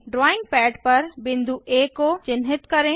drawing pad पर बिंदु आ को चिन्हित करें